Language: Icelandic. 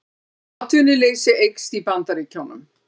Atvinnuleysi eykst í Bandaríkjunum